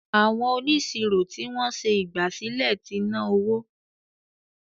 Àwọn onisiro ní wón ṣe ìgbàsílẹ̀ t'inaowó.